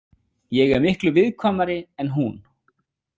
Ég er miklu viðkvæmari en hún.